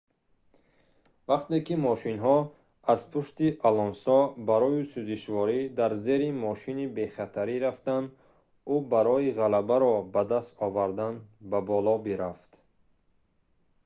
вақте ки мошинҳо аз пушти алонсо барои сӯзишворӣ дар зери мошини бехатарӣ рафтанд ӯ барои ғалабаро ба даст овардан ба боло бирафт